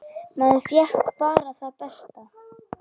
Maður fékk bara það besta.